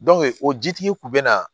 o jitigi kun bɛ na